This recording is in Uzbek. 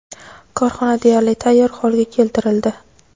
korxona deyarli tayyor holga keltirildi.